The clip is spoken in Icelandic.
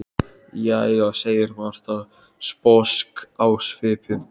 Jæja, segir Marta, sposk á svipinn.